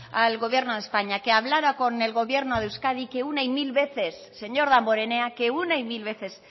al gobierno de españa que hablara con el gobierno de euskadi que una y mil veces señor damborenea que una y mil veces